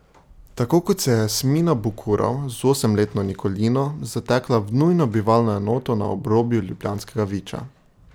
Tako kot se je Jasmina Bukurov z osemletno Nikolino zatekla v nujno bivalno enoto na obrobju ljubljanskega Viča.